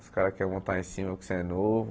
Os caras querem montar em cima porque você é novo.